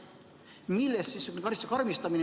Millest selline karistuse karmistamine?